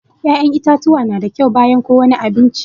Ya'yan itatuwa na da kyau bayan ko wani abinci